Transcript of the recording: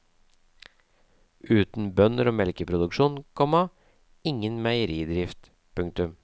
Uten bønder og melkeproduksjon, komma ingen meieridrift. punktum